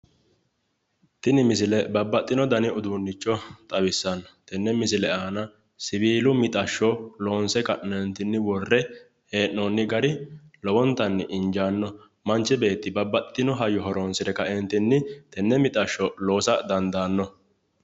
Tini misile babbaxxino dani uduunnicho xawissanno. Tenne misile aana siwiilu mixashsho loonse ka'neentinni worre hee’noonni gari lowontanni injaanno. Manchi beetti babbaxxitino hayyo horonsire kaeentinni tenne mixashsho liisa dandaanno.